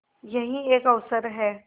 यही एक अवसर है